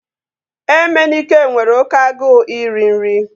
Emenike nwere oké agụụ iri nri